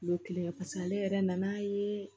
Kulo kelen paseke ale yɛrɛ nan'a ye